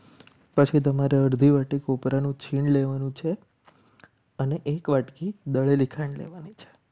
પછી તમારે અડધી વાટકોપરાનું છીણ લેવાનું છે. અને એક વાટકી દળેલી ખાંડ લેવાની છે.